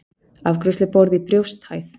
Afgreiðsluborð í brjósthæð.